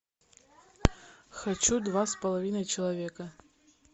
хочу два с половиной человека